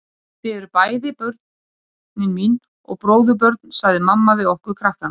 Og þið eruð bæði börnin mín og bróðurbörn sagði mamma við okkur krakkana.